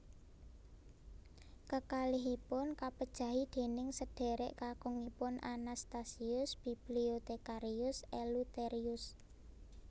Kekalihipun kapejahi déning sedhérék kakungipun Anastasius Bibliothecarius Eleutherius